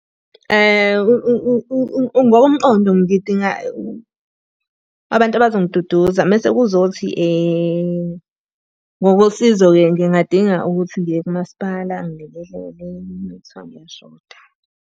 Ngokomqondo ngidinga abantu abazongiduduza mese kuzothi ngokosizo-ke ngingadinga ukuthi ngiye kumasipala angilekelele uma kuthiwa ngiyashoda.